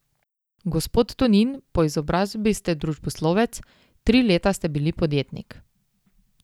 Gospod Tonin, po izobrazbi ste družboslovec, tri leta ste bili podjetnik.